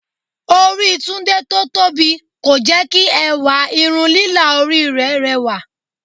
Orí Tunde tó tóbi kò jẹ́ kí ẹwà irun lílà orí rẹ̀ rẹwà